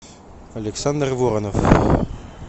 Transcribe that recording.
александр воронов